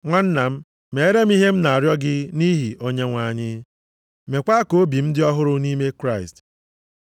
Nwanna m, mere m ihe a m na-arịọ gị nʼihi Onyenwe anyị. Mekwa ka obi m dị ọhụrụ nʼime Kraịst.